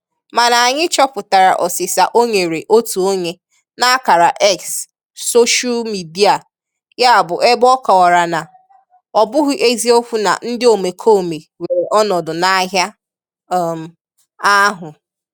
Mana anyị chọpụtara ọsịsa o nyere otu onye n'akara X soshal mịdịa ya bụ ebe ọ kọwara na "ọ bụghị eziokwu na ndị omekome were ọnọdụ n'ahịa um ahụ".